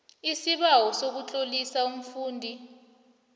isibawo sokutlolisa umfundi